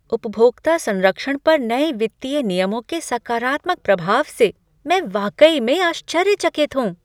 उपभोक्ता संरक्षण पर नए वित्तीय नियमों के सकारात्मक प्रभाव से मैं वाकई में आश्चर्यचकित हूँ।